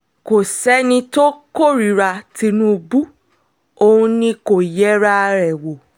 kò sẹ́ni tó kórìíra tìǹbù òun ni kò yẹra ẹ̀ wò